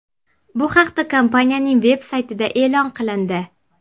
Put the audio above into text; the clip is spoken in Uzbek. Bu haqda kompaniyaning veb-saytida e’lon qilindi .